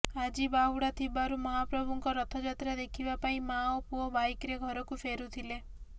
ଆଜି ବାହୁଡ଼ା ଥିବାରୁ ମହାପ୍ରଭୁଙ୍କ ରଥଯାତ୍ରା ଦେଖିବା ପାଇଁ ମାଆ ଓ ପୁଅ ବାଇକରେ ଘରକୁ ଫେରୁଥିଲେ